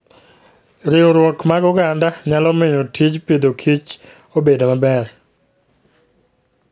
Riwruok mar oganda nyalo miyo tij Agriculture and Food obed maber.